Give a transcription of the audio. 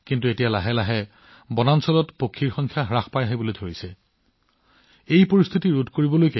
কিন্তু লাহে লাহে অৰণ্যত চৰাইৰ সংখ্যা হ্ৰাস হবলৈ আৰম্ভ কৰিছে